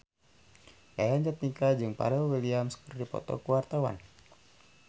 Yayan Jatnika jeung Pharrell Williams keur dipoto ku wartawan